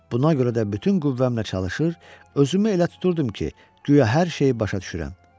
Buna görə də bütün qüvvəmlə çalışır, özümü elə tuturdum ki, güya hər şeyi başa düşürəm.